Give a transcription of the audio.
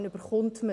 Man erhält sie.